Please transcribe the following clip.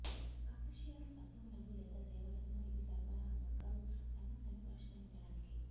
commercials వస్తువులను లేదా సేవలను మరియు సరఫరా అమ్మకం సమస్యను పరిష్కరించడానికి